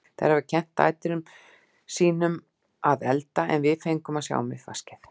Þær hafa kennt dætrum sín um að elda en við fengum að sjá um uppvaskið.